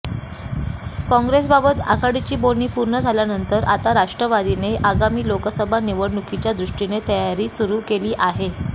काँग्रेससोबत आघाडीची बोलणी पूर्ण झाल्यानंतर आता राष्ट्रवादीने आगामी लोकसभा निवडणुकीच्या दृष्टीने तयारी सुरू केली आहे